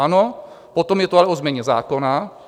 Ano, potom je to ale o změně zákona.